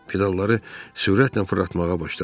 Pedalları sürətlə fırlatmağa başladı.